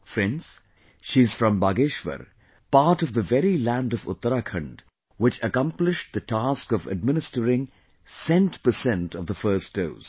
Friends, she is from Bageshwar, part of the very land of Uttarakhand which accomplished the task of administering cent percent of the first dose